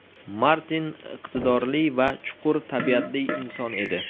Martin iqtidorli va chuqur tabiatli inson edi.